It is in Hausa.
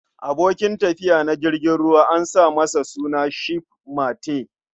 Abokin tafiya na jirgin ruwa an sa masa suna 'ship mate'.